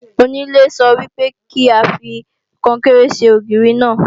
Onílé sọ wípé ka fi Kọnkéré ṣe ògiri náà